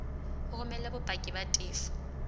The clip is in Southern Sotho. o romele bopaki ba tefo